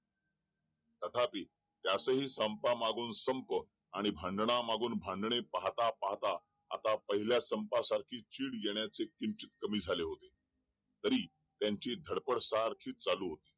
तथापि त्यात हि संपा मागून संप आणि भांडणा मागून भांडणे पाहता पाहता आता पहिल्या संपा सारखी चीड येणे किंचित कमी झाले होते तरी त्यांची धडपड सारखी चालू होती